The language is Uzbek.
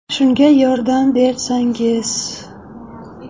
Shunga yordam bersangiz.